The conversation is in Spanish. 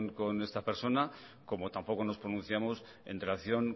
con esta persona como tampoco nos pronunciamos en relación